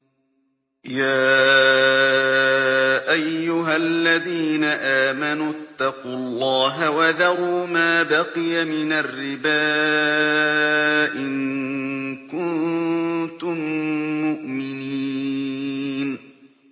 يَا أَيُّهَا الَّذِينَ آمَنُوا اتَّقُوا اللَّهَ وَذَرُوا مَا بَقِيَ مِنَ الرِّبَا إِن كُنتُم مُّؤْمِنِينَ